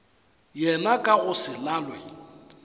yena ka go se lalwe